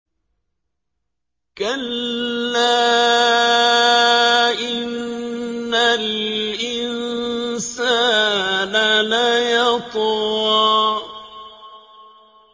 كَلَّا إِنَّ الْإِنسَانَ لَيَطْغَىٰ